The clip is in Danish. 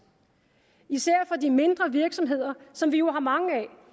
især for de mindre virksomheder som vi jo har mange